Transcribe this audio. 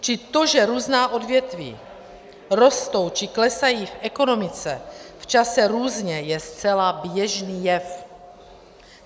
Čili to, že různá odvětví rostou či klesají v ekonomice v čase různě, je zcela běžný jev.